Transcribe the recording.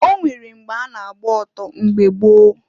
O nwere mgbe a na-agba oto mgbe gboo.